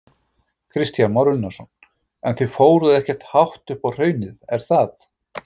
Kristján Már Unnarsson: En þið fóruð ekkert hátt upp á hraunið, er það?